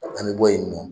An bɛ bɔ yen nɔ